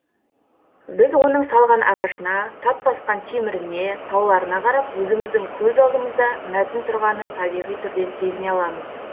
біз оның салған ағашына тат басқан теміріне тауларына қарап өзіміздің көз алдымызда мәтін тұрғанын табиғи түрде сезіне аламыз